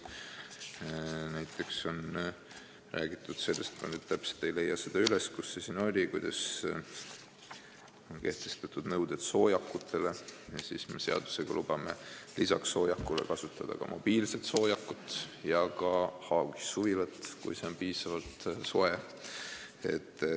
Näiteks on räägitud sellest – ma ei leia üles, kus see siin oli –, et on kehtestatud nõuded soojakule ja me seadusega lubame lisaks soojakule kasutada ka mobiilset soojakut ja haagissuvilat, kui see on piisavalt soe.